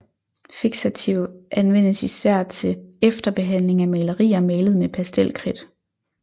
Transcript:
Fiksativ anvendes især til efterbehandling af malerier malet med pastelkridt